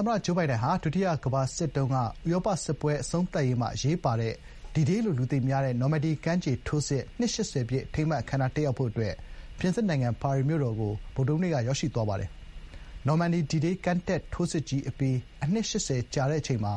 သမ္မတဂျိုးဘိုင်ဒန်ဟာ ဒုတိယကမ္ဘာစစ်အတွင်းက ဥရောပစစ်ပွဲ အဆုံးသတ်ရာမှာ အရေးပါတဲ့ D-Day လို့ လူသိများတဲ့ နော်မန်ဒီကမ်းခြေထိုးစစ် နှစ် ၈၀ ပြည့် အထိမ်းအမှတ် အခမ်းအနား တက်ရောက်ဖို့ အတွက် ပြင်သစ် နိုင်ငံ ပါရီ မြို့တော်ကို ဗုဒ္ဓဟူးနေ့က ရောက်ရှိသွားပါတယ်။ “နော်မန်ဒီ D-Day ကမ်းတက်ထိုးစစ်ကြီး အပြီး အနှစ် ရှစ်ဆယ်ကြာတဲ့အချိန်မှာ